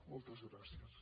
moltes gràcies